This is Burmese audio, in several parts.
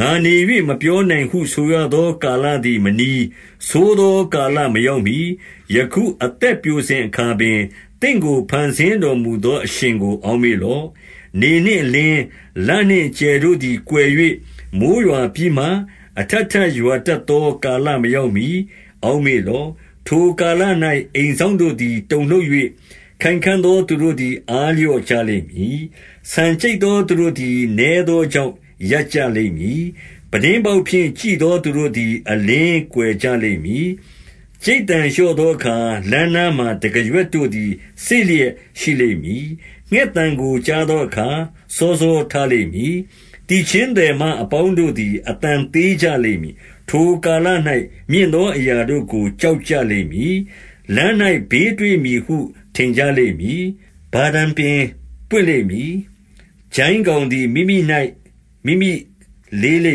ငါနေ၍ မပြောနိုင်ဟုဆိုရသော ကာလသည် မနီး၊ ဆိုးသောကာလမရောက်မှီ၊ ယခုအသက်ပျိုစဉ်အခါ ပင်၊ သင့်ကို ဖန်ဆင်းတော်မူသောအရှင်ကို အောက်မေ့ လော့။ 2 နေနှင့်အလင်း၊ လနှင့်ကြယ်တို့သည် ကွယ်၍ မိုဃ်းရွာပြီးမှ၊ အထပ်ထပ်ရွာတတ်သော ကာလမရောက် မှီ အောက်မေ့လော့။ 3 ထိုကာလ၌ အိမ်စောင့်တို့သည် တုန်လှုပ်၍၊ ခိုင်ခံ့သော သူတို့သည် အားလျော့ကြလိမ့်မည်။ ဆန် ကြိတ်သောသူတို့သည် နည်းသောကြောင့် ရပ်ကြလိမ့် မည်။ ပြတင်းပေါက်ဖြင့် ကြည့်သော သူတို့သည် အလင်း ကွယ်ကြလိမ့်မည်။ 4 ကြိတ်သံလျော့သောအခါ၊ လမ်းနားမှာ တံခါး ရွက်တို့သည် စေ့လျက်ရှိလိမ့်မည်။ ငှက်သံကိုကြားသော အခါ၊ စောစောထလိမ့်မည်။ သီချင်းသည်မ အပေါင်းတို့ သည် အသံသေးကြလိမ့်မည်။ 5 ထိုကာလ၌ မြင့်သောအရာတို့ကို ကြောက်ကြ လိမ့်မည်။ လမ်း၌ဘေးတွေ့မည်ဟု ထင်ကြလိမ့်မည်။ ဗာတံပင်ပွင့်လိမ့်မည်။ ကျိုင်းကောင်သည် မိမိ၌မိမိ လေးလိ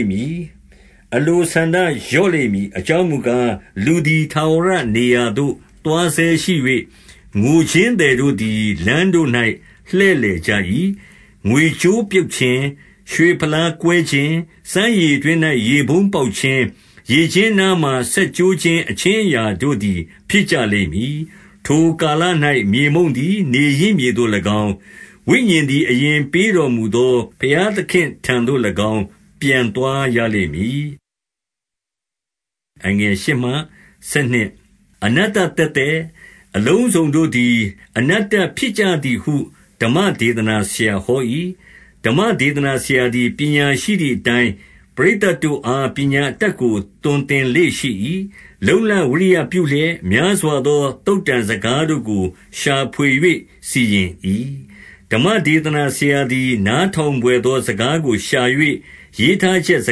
မ့်မည်။ အလိုဆန္ဒလျော့လိမ့်မည်။ အကြောင်းမူ ကား၊ လူသည်ထာဝရနေရာသို့ သွားဆဲရှိ၍၊ ငိုခြင်းသည် တို့သည် လမ်းတို့၌ လှည့်လည်ကြ၏။ 6 ငွေကြိုးပြုတ်ခြင်း၊ ရွှေဖလားကွဲခြင်း၊ စမ်းရေတွင်း ၌ ရေပုံးပေါက်ခြင်း၊ ရေကျင်းနားမှာစက်ကျိုးခြင်း အခြင်း အရာတို့သည် ဖြစ်ကြလိမ့်မည်။ 7 ထိုကာလ၌ မြေမှုန့်သည် နေရင်းမြေသို့၎င်း၊ ဝိညာဉ်သည် အရင်ပေးတော်မူသော ဘုရားသခင့်ထံသို့ ၎င်း ပြန်သွားရလိမ့်မည်။ 8 အနတ္တသက်သက်၊ အလုံးစုံတို့သည် အနတ္တဖြစ် ကြသည်ဟု ဓမ္မဒေသနာဆရာဟော၏။ 9 ဓမ္မဒေသနာဆရာသည် ပညာရှိသည်အတိုင်း၊ ပရိသတ်တို့အား ပညာအတတ်ကို သွန်သင်လေ့ရှိ၏။ လုံ့လဝိရိယပြုလျက် များစွာသော သုတ္တံစကားတို့ကို ရှာဖွေ၍စီရင်၏။ 10 ဓမ္မဒေသနာဆရာသည် နားထောင်ဘွယ်သော စကားကိုရှာ၍၊ ရေးထားချက်စ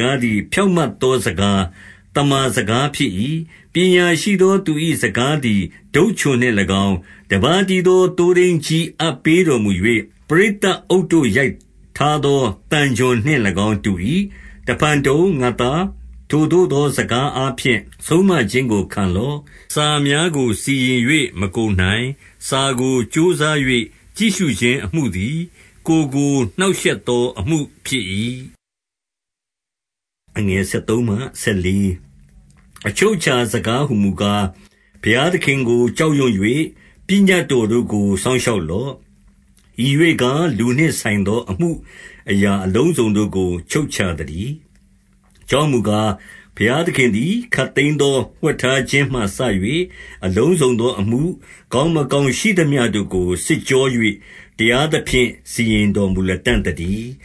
ကားသည် ဖြောင့်မတ် သောစကား၊ သမ္မာစကားဖြစ်၏။ 11 ပညာရှိသောသူ၏စကားသည် တုတ်ချွန်နှင့် ၎င်း၊ တပါးတည်းသော သိုးထိန်းကြီးအပ်ပေတော်မူ၍၊ ပရိသတ်အုပ်တို့ ရိုက်ထားသောသံချွန်နှင့်၎င်း တူ၏။ 12 တဖန်တုံ၊ ငါ့သား၊ ထိုသို့သောစကားအားဖြင့် ဆုံးမခြင်းကို ခံလော့။ စာများကိုစီရင်၍ မကုန်နိုင်။ စာကို ကြိုးစား၍ ကြည့်ရှုခြင်းအမှုသည်၊ ကိုယ်ကို နှောင့်ရှက် သောအမှုဖြစ်၏။ 13 အချုပ်အခြာစကားဟူမူကား၊ ဘုရားသခင်ကို ကြောက်ရွံ့၍၊ ပညတ်တော်တို့ကို စောင့်ရှောက်လော့။ ဤရွေ့ကား၊ လူနှင့်ဆိုင်သော အမှုအရာအလုံးအစုံတို့ကို ချုပ်ခြာသတည်း။ 14 အကြောင်းမူကား၊ ဘုရားသခင်သည် ခပ်သိမ်း သော ဝှက်ထားခြင်းမှစ၍၊ အလုံးစုံသောအမှု၊ ကောင်း မကောင်းရှိသမျှတို့ကို စစ်ကြော၍၊ တရားသဖြင့် စီရင် တော်မူလတံ့သတည်း။